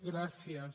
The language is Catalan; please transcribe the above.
gràcies